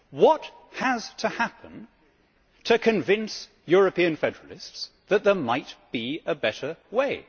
What has to happen to convince European Federalists that there might be a better way?